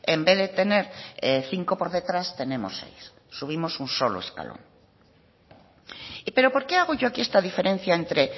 en vez de tener cinco por detrás tenemos seis subimos solo un escalón pero porque hago yo aquí esta diferencia entre